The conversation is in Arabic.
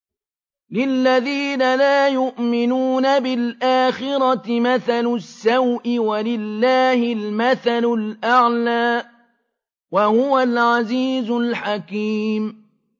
لِلَّذِينَ لَا يُؤْمِنُونَ بِالْآخِرَةِ مَثَلُ السَّوْءِ ۖ وَلِلَّهِ الْمَثَلُ الْأَعْلَىٰ ۚ وَهُوَ الْعَزِيزُ الْحَكِيمُ